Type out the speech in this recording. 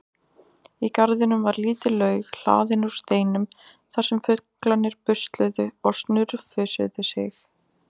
Í garðinum var lítil laug hlaðin úr steinum þar sem fuglarnir busluðu og snurfusuðu sig.